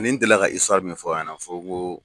Ani n delila ka min fɔ a ɲɛnɛ fɔ n ko.